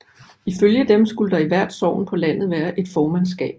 Ifølge dem skulle der i hvert sogn på landet være et formandskab